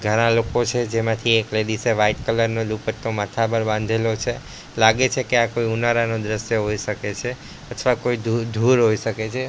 ઘણા લોકો છે જેમાંથી એક લેડીસ એ વાઈટ કલર નો દુપટ્ટો માથા ઉપર બાંધેલો છે લાગે છે કે આ કોઈ ઉનાળાનું દ્રશ્ય હોઈ શકે છે અથવા કોઈ ધૂળ હોઈ શકે છે.